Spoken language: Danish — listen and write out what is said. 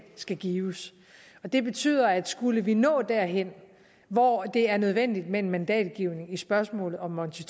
skal gives det betyder at skulle vi nå derhen hvor det er nødvendigt med en mandatgivning i spørgsmålet om monti